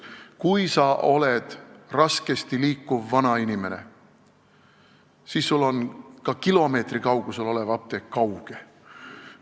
Kui sa oled raskesti liikuv vanainimene, siis on ka kilomeetri kaugusel olev apteek sulle kauge.